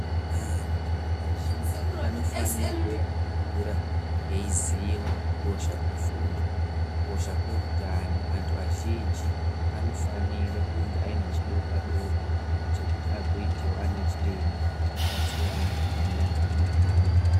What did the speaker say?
Antu azhinji anofanirwe kukura eiziya kukosha kwefundo, kukosha kweutano, antu azhinji anofanire kunge ane chidokwa dokwa chekuti agoitewo anachiremba agobatsire antu panyaya dzeutano.